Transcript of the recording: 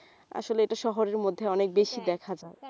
আসলে এটা শহরের মধ্যে অনেক বেশি দেখা যায়